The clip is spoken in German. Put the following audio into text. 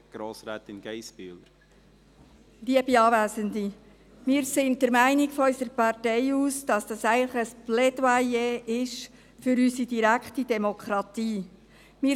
Wir von unserer Partei sind der Meinung, dass dies ein Plädoyer für unsere direkte Demokratie ist.